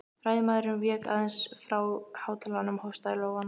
Ræðumaðurinn vék aðeins frá hátalaranum og hóstaði í lófann.